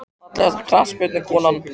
Fallegasta knattspyrnukonan?